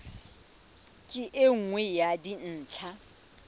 ke e nngwe ya dintlha